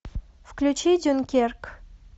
включи дюнкерк